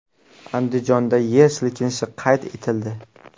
Andijonda yer silkinishi qayd etildi.